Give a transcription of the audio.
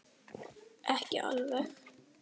Ekki alveg.